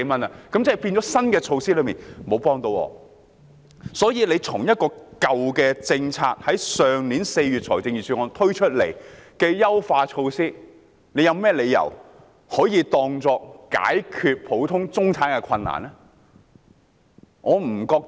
因此，局長怎可以舊的政策——去年4月財政預算案推出的優化措施——當作解決普通中產人士困難的妙招？